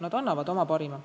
Nad annavad oma parima.